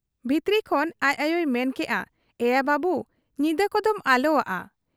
ᱵᱷᱤᱛᱨᱤ ᱠᱷᱚᱱ ᱟᱡ ᱟᱭᱚᱭ ᱢᱮᱱ ᱟᱠᱟᱜ ᱟ, 'ᱮᱭᱟ ᱵᱟᱹᱵᱩ ! ᱧᱤᱫᱟᱹ ᱠᱚᱫᱚᱢ ᱟᱞᱚᱣᱟᱜ ᱟ ᱾